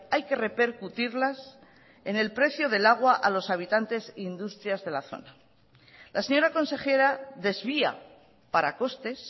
hay que repercutirlas en el precio del agua a los habitantes e industrias de la zona la señora consejera desvía para costes